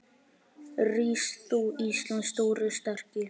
Rís þú, Íslands stóri, sterki